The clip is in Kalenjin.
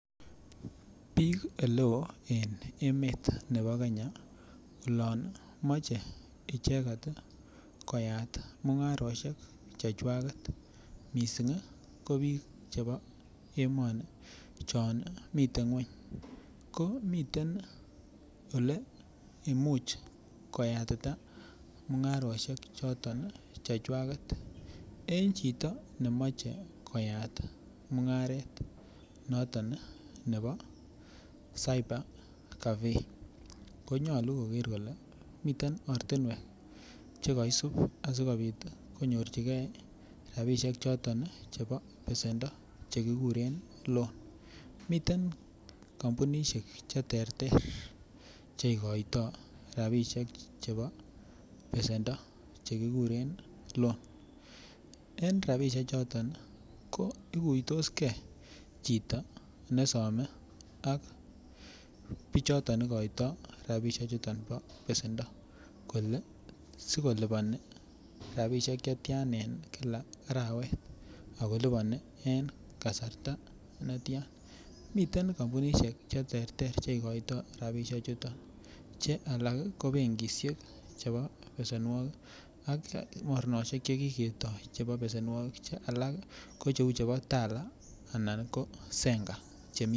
Bik oleo en emet nebo Kenya olon moche icheket koyat mungaroshek chechwaket missing ko bik chebo emoni Chon miten ngweny ko miten ole imuch koyatita mungaroshek chechwaket en chito nemoche koyat mungaret noton nebo cyber cafe konyolu koker kole miten ortinwek chekoisib sikopit konyorchigee rabishek choton chebo pesendo chekikuren loan miten kompunishek cheterter cheikoito rabishek chebo pesendo ko chekikuren loan en rabishek choton ko ikuiitosgee chito nesome ak bichoton ikoito rabishek chuton bo pesendo kole sikoliponi rabishek chetyan en kila arawet ako liponi en kasarta netyan. Miten kompunishek cheterter cheikoito rabishek chuton che alak ko benkishek chebo pesenuokik an moroneshek chekiketo chebo pesenuokik che alak ko cheu chebo Tala anan ko Zenka chemii.